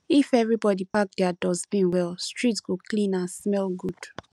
if everybody pack their dustbin well street go clean and smell good